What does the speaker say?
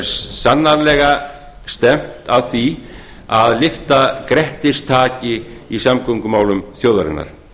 sannarlega stefnt að því að lyfta grettistaki í samgöngumálum þjóðarinnar